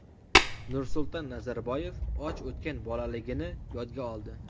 Nursulton Nazarboyev och o‘tgan bolaligini yodga oldi.